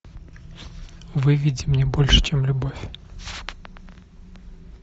выведи мне больше чем любовь